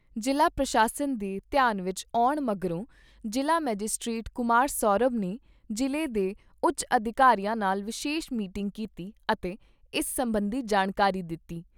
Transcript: ਜ਼ਿਲ੍ਹਾ ਪ੍ਰਸ਼ਾਸਨ ਦੇ ਧਿਆਨ ਵਿਚ ਆਉਣ ਮਗਰੋਂ ਜ਼ਿਲ੍ਹਾ ਮਜਿਸਟਰੇਟ ਕੁਮਾਰ ਸ਼ੌਰਭ ਨੇ ਜ਼ਿਲ੍ਹੇ ਦੇ ਉੱਚ ਅਧਿਕਾਰੀਆਂ ਨਾਲ ਵਿਸ਼ੇਸ਼ ਮੀਟਿੰਗ ਕੀਤੀ ਅਤੇ ਇਸ ਸਬੰਧੀ ਜਾਣਕਾਰੀ ਦਿੱਤੀ।